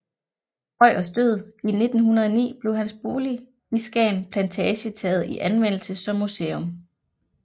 Krøyers død i 1909 blev hans bolig i Skagen Plantage taget i anvendelse som museum